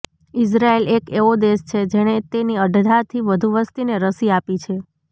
ઇઝરાઇલ એક એવો દેશ છે જેણે તેની અડધાથી વધુ વસ્તીને રસી આપી છે